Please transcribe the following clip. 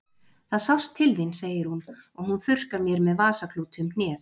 Það sást til þín, segir hún og hún þurrkar mér með vasaklúti um hnéð.